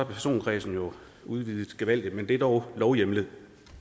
personkredsen jo udvidet gevaldigt men det er dog lovhjemlet